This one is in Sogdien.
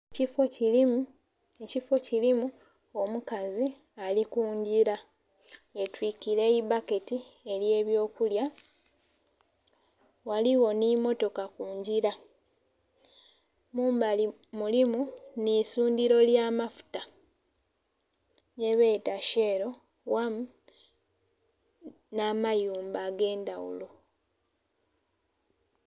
Ekifoo kilimu ekifoo kilimu omukazi ali kungila yetwikire eibaketi elye byo kulya, ghaligho nhi motoka kungila. Mumbali mulimu nhe eisundhiro lya mafuta kyebeta sheelo wamu nha mayumba age'ndhaghulo.